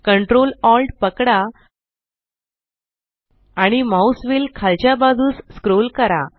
ctrl alt पकडा आणि mouse wheel खालच्या बाजूस स्क्रोल करा